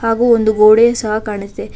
ಹಾಗೂ ಒಂದು ಗೋಡೆ ಸಹ ಕಾಣುಸ್ತೆ.